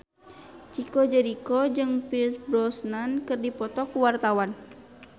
Chico Jericho jeung Pierce Brosnan keur dipoto ku wartawan